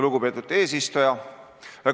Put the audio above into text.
Lugupeetud eesistuja!